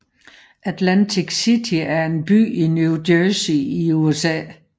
Atlantic City er en by i New Jersey i USA